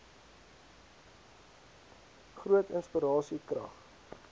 groot inspirasie krag